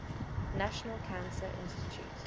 national cancer institute